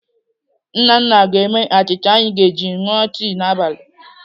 Nnanna ga-eme achịcha anyị ga-eji ṅụọ tii n'abalị.